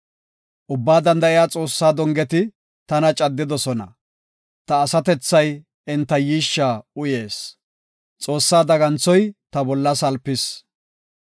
Ubbaa Danda7iya Xoossaa dongeti tana caddidosona; ta asatethay enta yiishsha uyees; Xoossaa daganthoy ta bolla salpis.